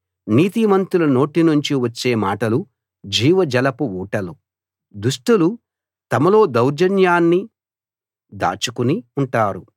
నీతిమంతుల నోటినుంచి వచ్చే మాటలు జీవజలపు ఊటలు దుష్టులు తమలో దౌర్జన్యాన్ని దాచుకుని ఉంటారు